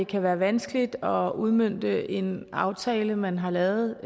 kan være vanskeligt at udmønte en aftale man har lavet